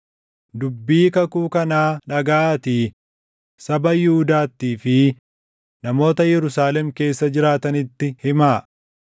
“Dubbii kakuu kanaa dhagaʼaatii saba Yihuudaattii fi namoota Yerusaalem keessa jiraatanitti himaa.